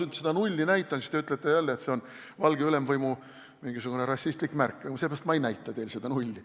Kui ma seda nulli teile näitaksin, siis te ütleksite jälle, et see on mingisugune valge ülemvõimu rassistlik märk, ja sellepärast ma seda nulli teile ei näita.